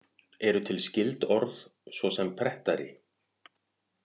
Eru til skyld orð, svo sem prettari?